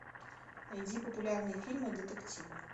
найди популярные фильмы детективы